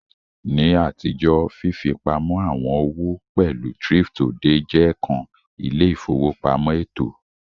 Ni atijo, fifipamọ awọn owo pẹlu thrift-odè je kan ile-ifowopamọ eto.